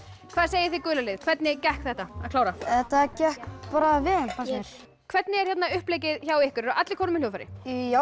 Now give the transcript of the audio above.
hvað segið þið gula lið hvernig gekk þetta að klára það gekk bara vel fannst mér hvernig er uppleggið hjá ykkur eru allir komnir með hljóðfæri já